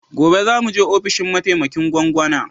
Gobe za mu je ofishin mataimakin gwangwana